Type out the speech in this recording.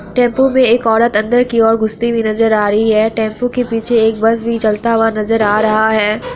Tempo पे एक औरत अंदर की ओर घुसती हुई नजर आ रही है| टेंपू के पीछे एक बस भी चलता हुआ नजर आ रहा है।